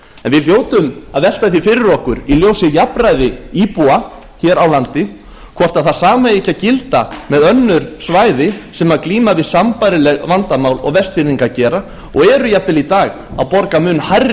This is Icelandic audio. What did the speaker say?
en við hljótum að velta því fyrir okkur í ljósi jafnræðis íbúa hér á landi hvort það sama eigi ekki að gilda með önnur svæði sem glíma við sambærileg vandamál og vestfirðingar gera og eru jafnvel í dag að borga mun hærri